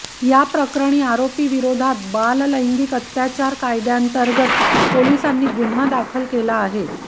या प्रकरणी आरोपीविरोधात बाललैंगिक अत्याचार कायद्यांतर्गत पोलिसांनी गुन्हा दाखल केला आहे